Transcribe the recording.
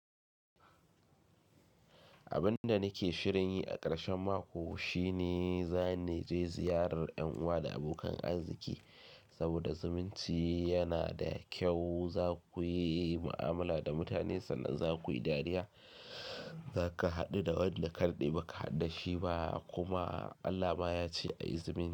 Abin da nake shirin yi a ƙarshen mako shine za ni je ziyarar ƴan uwa da abokan arziki saboda zumunci yana da kyau. Za ku yi mu'amala da mutane sannan za ku yi dariya, za ka haɗu da wanda kadade ba ka haɗu da shi ba kuma Allah ma ya ce a yi zumunci.